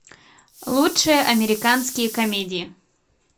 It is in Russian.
лучшие американские комедии